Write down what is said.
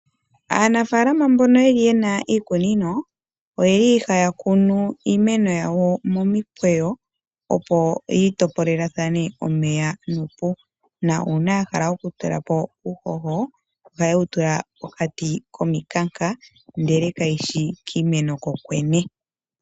Aanafalama mbono yeli yena iikunino oyeli haya kunu iimeno yawo momikweyo opo yi topolathane omeya nuupu, na uuna ya hala okutula po uuhoho ohaye wu tula pokati komikanka ndele kayi shi kiimeno kokwene.